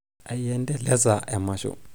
aindeleza emasho